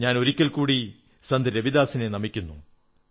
ഞാൻ ഒരിക്കൽകൂടി സന്ത് രവിദാസിനെ നമിക്കുന്നു